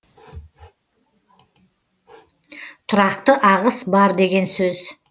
тұрақты ағыс бар деген сөз